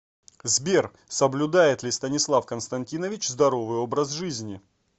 сбер соблюдает ли станислав константинович здоровый образ жизни